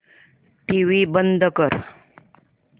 TV बंद कर